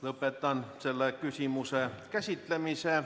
Lõpetan selle küsimuse käsitlemise.